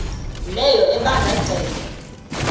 leyo ebanda ceke